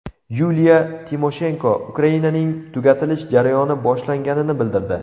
Yuliya Timoshenko Ukrainaning tugatilish jarayoni boshlanganini bildirdi.